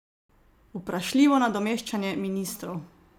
Vprašljivo nadomeščanje ministrov?